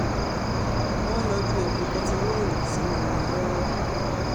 wọ́n ń lọ́jú epo bẹntiróòlù sínú wọn lọ́wọ́